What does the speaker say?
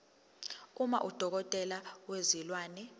uma udokotela wezilwane